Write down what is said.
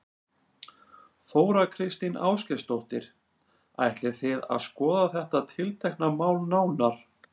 Þóra Kristín Ásgeirsdóttir: Ætlið þið að skoða þetta tiltekna mál nánar?